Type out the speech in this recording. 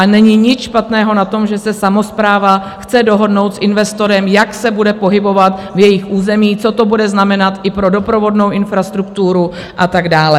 A není nic špatného na tom, že se samospráva chce dohodnout s investorem, jak se bude pohybovat v jejich území, co to bude znamenat i pro doprovodnou infrastrukturu a tak dále.